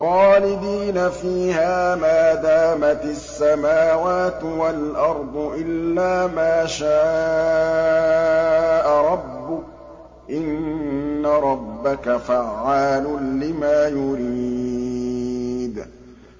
خَالِدِينَ فِيهَا مَا دَامَتِ السَّمَاوَاتُ وَالْأَرْضُ إِلَّا مَا شَاءَ رَبُّكَ ۚ إِنَّ رَبَّكَ فَعَّالٌ لِّمَا يُرِيدُ